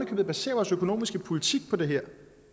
købet baserer vores økonomiske politik på det